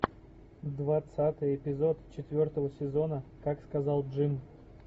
двадцатый эпизод четвертого сезона как сказал джим